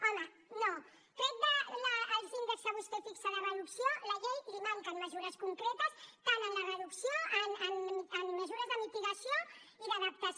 home no tret dels índexs que vostè fixa de reducció a la llei li manquen mesures concretes tant en la reducció en mesures de mitigació i d’adaptació